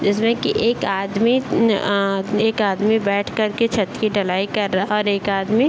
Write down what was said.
जिसमें की एक आदमी ऑ एक आदमी बैठ कर के छत की ढलाई कर रहा है और एक आदमी --